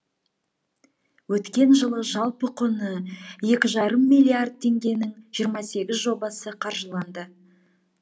өткен жылы жалпы құны екі жарым миллиард теңгенің жиырма сегіз жобасы қаржыланды